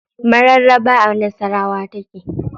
Mararaba a nasawara take.